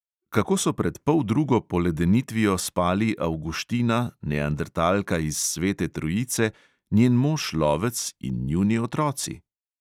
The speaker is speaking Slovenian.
Kako so pred poldrugo poledenitvijo spali avguština, neandertalka iz svete trojice, njen mož lovec in njuni otroci?